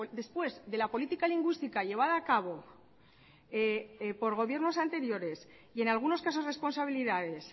después de la política lingüística llevada a cabo por gobiernos anteriores y en algunos casos responsabilidades